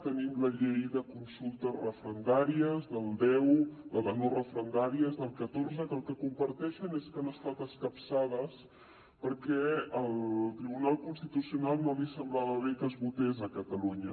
tenim la llei de consultes referendàries del deu la de no referendàries del catorze que el que comparteixen és que han estat escapçades perquè al tribunal constitucional no li semblava bé que es votés a catalunya